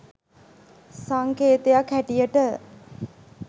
සංකේතයක් හැටියට.